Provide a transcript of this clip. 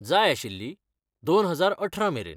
जाय आशिल्ली, दोन हजार अठरा मेरेन.